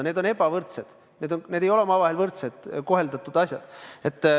Need on ebavõrdsed tingimused, need ei ole omavahel võrselt koheldud asjad.